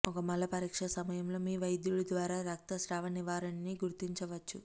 ఒక మల పరీక్ష సమయంలో మీ వైద్యుడు ద్వారా రక్తస్రావ నివారిణి గుర్తించవచ్చు